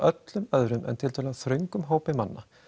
öllum öðrum en tiltölulega þröngum hópi manna